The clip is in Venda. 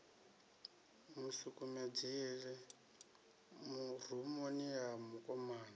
mu sukumedzela rumuni ya mukomana